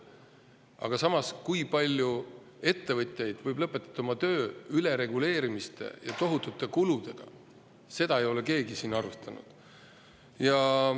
Aga samas, kui palju ettevõtjaid võib lõpetada oma töö ülereguleerimise ja tohutute kulude tõttu, seda ei ole keegi siin arvestanud.